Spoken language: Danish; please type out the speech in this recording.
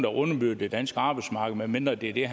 underbyder det danske arbejdsmarked medmindre det er det